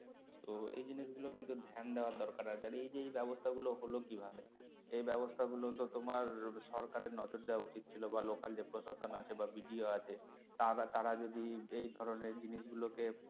তো এই জিনিসগুলো কিন্তু ধ্যান দেওয়ার দরকার আছে আর এই যে এই ব্যাবস্তা গুলো হলো কি ভাবে এই ব্যাবস্তা গুলো তো তোমার সরকারের নজর দেওয়া উচিত ছিল বা local যে প্রশাসন আছে বা BDO আছে তারা~ তারা যদি এই ধরনের জিনিসগুলোকে